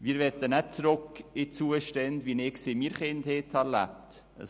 Wir möchten nicht zurück in Zustände, wie ich sie selber während meiner Kindheit erlebt habe.